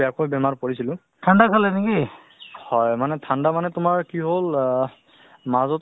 হয় হয় ধুনীয়া ভাল উম মানে বস্তুতো কি হয় অ স্বাস্থ্যৰ প্ৰতিও লক্ষ্য ৰাখিব লাগে নহয় জানো